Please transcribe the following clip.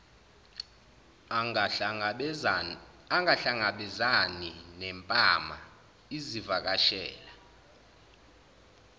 angahlangabezani nempama izivakashela